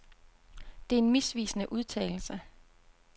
Det er en misvisende udtalelse.